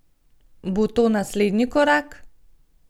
Bo to naslednji korak?